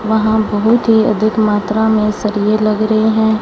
वहां बहोत हि अधिक मात्रा में सरिए लग रहे है।